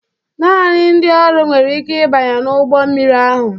Naanị ndị ọrụ nwere ike ịbanye n'ụgbọ mmiri ahụ.